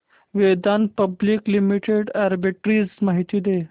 Vedanta public limited arbitrage माहिती दे